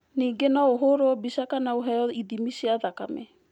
Ningĩ no ũhũrũo mbica kana ũheo ithimi cia thakame.